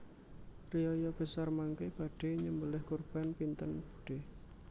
Riyaya besar mangke badhe nyembeleh kurban pinten budhe?